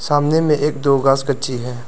सामने में एक दो घास कच्ची हैं।